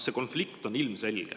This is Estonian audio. Konflikt on ilmselge.